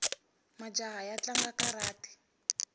majaha ya tlanga karati